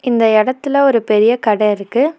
இந்த எடத்துல ஒரு பெரிய கட இருக்கு.